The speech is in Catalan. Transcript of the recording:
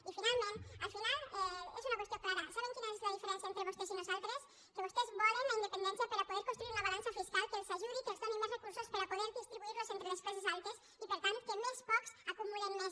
i finalment al final és una qüestió clara saben quina és la diferència entre vostès i nosaltres que vostès volen la independència per a poder construir una balança fiscal que els ajudi que els doni més recursos per a poder distribuir los entre les classes altes i per tant que més pocs acumulen més